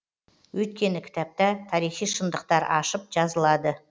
өйткені кітапта тарихи шындықтар ашып жазылады